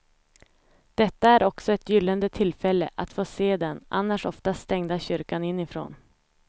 Detta är också ett gyllene tillfälle att få se den annars oftast stängda kyrkan inifrån.